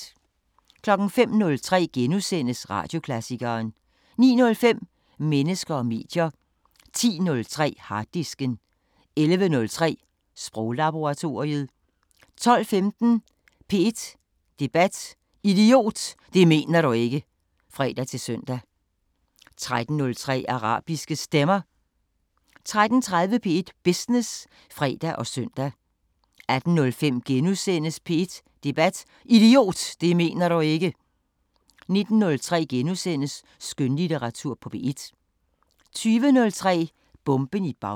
05:03: Radioklassikeren * 09:05: Mennesker og medier 10:03: Harddisken 11:03: Sproglaboratoriet 12:15: P1 Debat: Idiot, det mener du ikke! (fre-søn) 13:03: Arabiske Stemmer 13:30: P1 Business (fre og søn) 18:05: P1 Debat: Idiot, det mener du ikke! * 19:03: Skønlitteratur på P1 * 20:03: Bomben i Bagdad